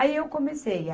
Aí eu comecei.